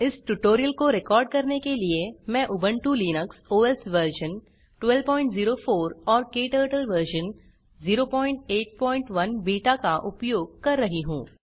इस ट्यूटोरियल को रिकॉर्ड करने के लिए मैं उबंटु लिनक्स ओएस वर्ज़न 1204 और क्टर्टल वर्ज़न 081 बीटा का उपयोग कर रही हूँ